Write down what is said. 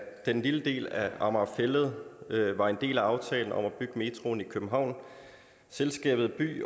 den lille del af amager fælled var en del af aftalen om at bygge metroen i københavn selskabet by